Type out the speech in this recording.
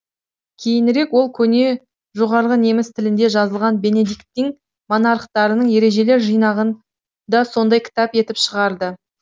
кейінірек ол көне жоғарғы неміс тілінде жазылған бенедиктин монахтарының ережелер жинағын да сондай кітап етіп шығарды